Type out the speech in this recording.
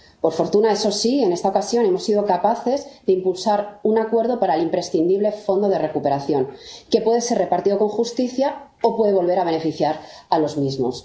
Por fortuna, eso sí, en esta ocasión hemos sido capaces de impulsar un acuerdo para el imprescindible Fondo de Recuperación, que puede ser repartido con justicia o puede volver a beneficiar a los mismos.